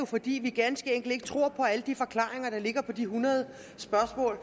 fordi vi ganske enkelt ikke tror på alle de forklaringer der ligger på de hundrede spørgsmål